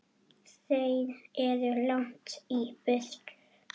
Þeir eru langt í burtu.